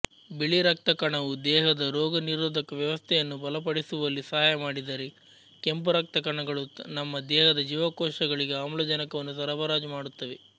ಬಿಳಿ ರಕ್ತಕಣವು ದೇಹದ ರೋಗನಿರೋಧಕ ವ್ಯವಸ್ಥೆಯನ್ನು ಬಲಪಡಿಸುವಲ್ಲಿ ಸಹಾಯ ಮಾಡಿದರೆ ಕೆಂಪುರಕ್ತಕಣಗಳು ನಮ್ಮ ದೇಹದ ಜೀವಕೋಶಗಳಿಗೆ ಆಮ್ಲಜನಕವನ್ನು ಸರಬರಾಜು ಮಾಡುತ್ತವೆ